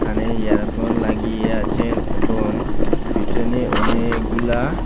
কানে ইয়ারফোন লাগিয়ে আছেন এবং পিছনে অনেকগুলা--